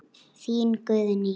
Þín, Guðný.